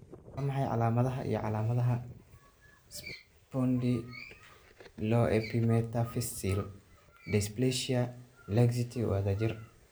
Waa maxay calaamadaha iyo calaamadaha Spondyloepimetaphyseal dysplasia laxity wadajir?